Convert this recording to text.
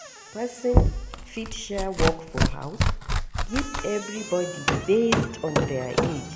Person fit share work for house give everybody based on their age